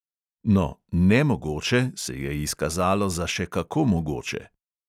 No, "nemogoče" se je izkazalo za še kako mogoče.